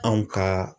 Anw ka